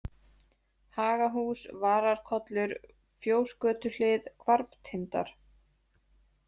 Hagahús, Vararkollur, Fjósgötuhlið, Hvarftindar